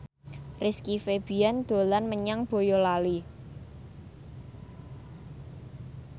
Rizky Febian dolan menyang Boyolali